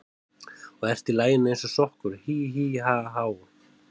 Og ert í laginu eins og sokkur, hí, hí, ha, há.